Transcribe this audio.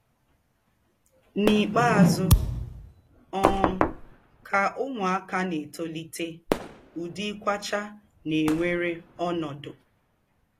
N'ikpeazụ um, ka ụmụaka na-etolite, ụdị ịkwachaa na-ewere ọnọdụ.